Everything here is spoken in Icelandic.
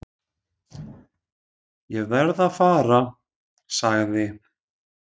"""Ég verð að fara, sagði"""